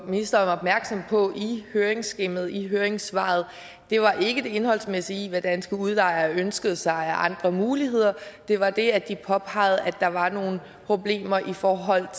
ministeren opmærksom på i høringsskemaet i høringssvaret var ikke det indholdsmæssige i hvad danske udlejere ønskede sig af andre muligheder det var det at de påpegede at der var nogle problemer i forhold